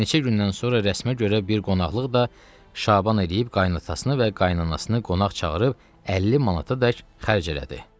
Neçə gündən sonra rəsmə görə bir qonaqlıq da Şaban edib qaynatasını və qaynanasını qonaq çağırıb 50 manata dək xərc elədi.